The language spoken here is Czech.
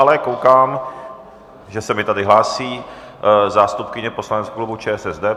Ale koukám, že se mi tady hlásí zástupkyně poslaneckého klubu ČSSD.